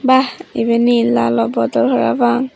bah eben he lalo bodol parapang.